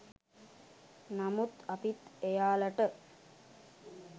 නමුත් අපිත් එයාලට